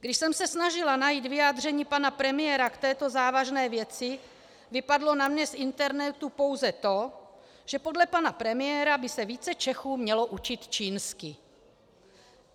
Když jsem se snažila najít vyjádření pana premiéra k této závažné věci, vypadlo na mě z internetu pouze to, že podle pana premiéra by se více Čechů mělo učit čínsky.